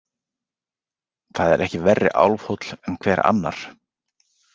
Það er ekki verri álfhóll en hver annar.